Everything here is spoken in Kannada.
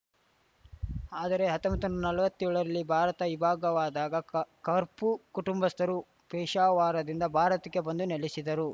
ಆದರೆ ಹತ್ತೊಂಬತ್ನೂರಾ ನಲ್ವತ್ತೇಳರಲ್ಲಿ ಭಾರತ ಇಬ್ಭಾಗವಾದಾಗ ಕ ಕರ್ಪು ಕುಟುಂಬಸ್ಥರು ಪೇಶಾವಾರದಿಂದ ಭಾರತಕ್ಕೆ ಬಂದು ನೆಲೆಸಿದರು